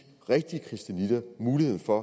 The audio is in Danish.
rigtige christianitter mulighed for